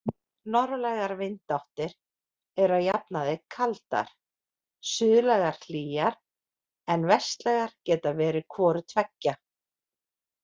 Norðlægar vindáttir eru að jafnaði kaldar, suðlægar hlýjar, en vestlægar geta verið hvoru tveggja.